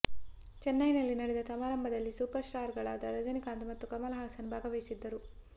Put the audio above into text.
ಚೆನ್ನೈ ನಲ್ಲಿ ನಡೆದ ಸಮಾರಂಭದಲ್ಲಿ ಸೂಪರ್ ಸ್ಟಾರ್ ಗಳಾದ ರಜನಿಕಾಂತ್ ಮತ್ತು ಕಮಲ್ ಹಾಸನ್ ಭಾಗವಹಿಸಿದ್ದರು